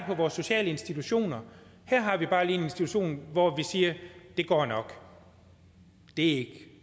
på vores sociale institutioner her har vi bare lige en institution hvor vi siger det går nok det